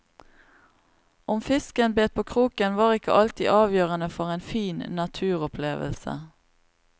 Om fisken bet på kroken, var ikke alltid avgjørende for en fin naturopplevelse.